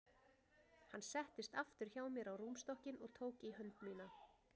Hann settist aftur hjá mér á rúmstokkinn og tók í hönd mína.